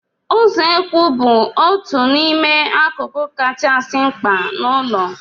Usekwụ bụ otu n'ime akụkụ kachasị mkpa n'ụlọ.